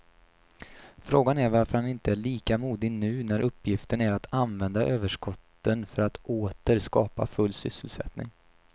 Frågan är varför han inte är lika modig nu när uppgiften är att använda överskotten för att åter skapa full sysselsättning.